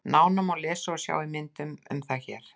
Nánar má lesa og sjá í myndum um það hér.